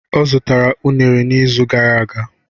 Ọ zụtara unere n'izu gara aga.